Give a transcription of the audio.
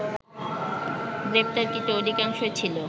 গ্রেপ্তারকৃত অধিকাংশই ছিল